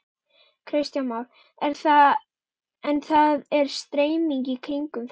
Kristján Már: En það er stemning í kringum þetta?